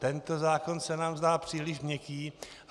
Tento zákon se nám zdá příliš měkký."